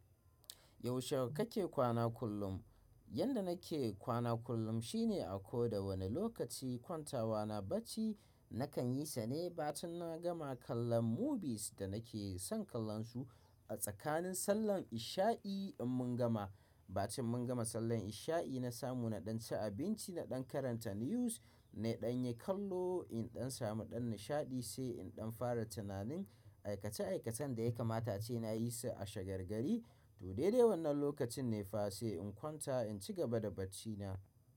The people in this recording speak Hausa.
Yaushe kake kwana kullum? Yanda nake kwana kullum shine a ko da wane lokaci kwantawa na bacci nakan yi sa ne ba tin na gama kallon movies da nake son kallon su. A tsakanin sallan isha'i in mun gama, ba tin mun gama sallan isha'i na samu naɗan ci abinci, naɗan karanta news, naɗan yi kallo, in ɗan samu ɗan nishaɗi sai in ɗan fara tunanin aikace aikacen da ya kamata ace na yi su a shagar gari. To dai dai wannan lokacin ne fa sai in kwanta in ci gaba da bacci na.